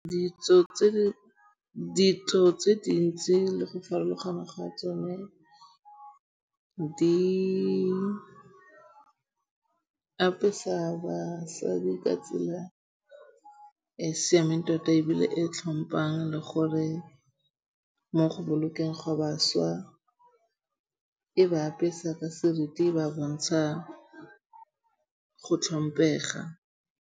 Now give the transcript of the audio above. Ditso tse dintsi le go farologana ga tsone di apesa basadi ka tsela e siameng tota ebile e tlhompang le gore mo go bolokeng gwa bašwa e ba apesa ka seriti ba bontsha go tlhompega.